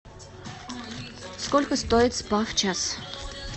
сколько стоит спа в час